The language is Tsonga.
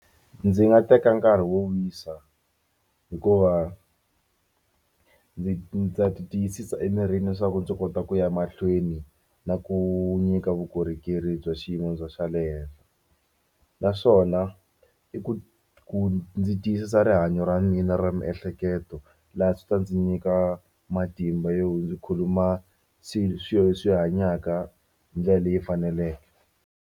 Ndzi nga teka nkarhi wo wisa hikuva ndzi ndza ti tiyisisa emirini leswaku ndzi kota ku ya mahlweni na ku nyika vukorhokeri bya xiyimo xa le henhla naswona i ku ku ndzi tiyisisa rihanyo ra mina ra miehleketo laha swi ta ndzi nyika matimba yo ndzi khuluma swilo leswi hanyaka hi ndlela leyi faneleke.